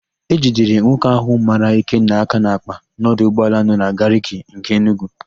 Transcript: E jidere nwoke ahụ mara Ikenna aka n'àkpà n'ọdụ ụgbọala nọ na Gariki nke Enugwu.